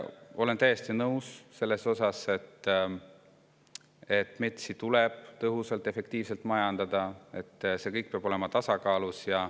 Olen täiesti nõus sellega, et metsi tuleb tõhusalt ja efektiivselt majandada ja et see kõik peab olema tasakaalus.